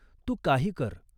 तू काही कर.